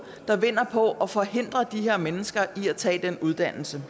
der vinder på at forhindre de her mennesker i at tage den uddannelse